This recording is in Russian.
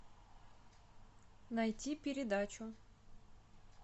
найти передачу